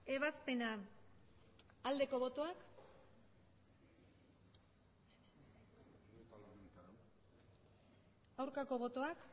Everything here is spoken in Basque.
ebazpena aldeko botoak aurkako botoak